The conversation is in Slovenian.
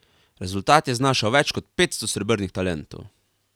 Rezultat je znašal več kot petsto srebrnih talentov.